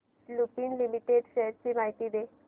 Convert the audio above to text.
Lupin limited shares ची माहिती दे